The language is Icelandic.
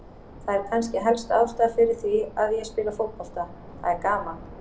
Það er kannski helsta ástæðan fyrir því að ég spila fótbolta, það er gaman.